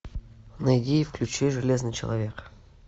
найди и включи железный человек